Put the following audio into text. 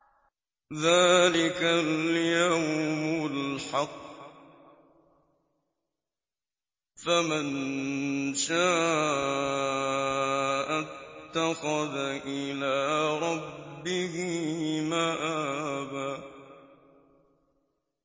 ذَٰلِكَ الْيَوْمُ الْحَقُّ ۖ فَمَن شَاءَ اتَّخَذَ إِلَىٰ رَبِّهِ مَآبًا